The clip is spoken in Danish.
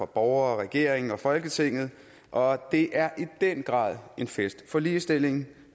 borgere regeringen og folketinget og det er i den grad en fest for ligestillingen